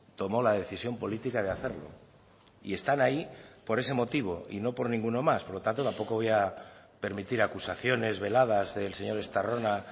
tomó la decisión política de hacerlo y están ahí por ese motivo y no por ninguno más por lo tanto tampoco voy a permitir acusaciones veladas del señor estarrona